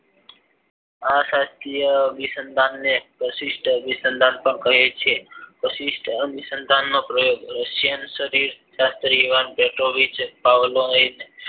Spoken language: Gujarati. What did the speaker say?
આ શાસ્ત્રીય અભિસંદન ને પ્રશિષ્ટ અભિસંદન પણ કહે છે પ્રતિસ્થ અભિસંદન નો પ્રયોગ પાવલાવે